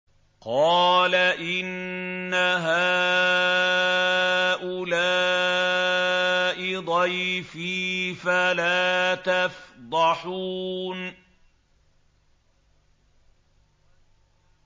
قَالَ إِنَّ هَٰؤُلَاءِ ضَيْفِي فَلَا تَفْضَحُونِ